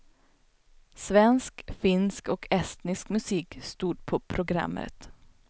Svensk, finsk och estnisk musik stod på programmet.